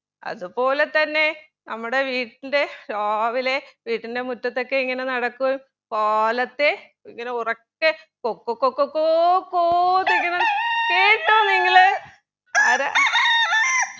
അതുപോലെ തന്നെ നമ്മുടെ വീട്ടിൻ്റെ രാവിലെ വീട്ടിൻ്റെ മുറ്റത്ത് ഒക്കെ ഇങ്ങനെ നടക്കുകേം കാലത്തെ ഇങ്ങനെ ഉറക്കെ കൊക്ക കൊക്ക കോ കോ എന്ന് കേട്ടൊ നിങ്ങള്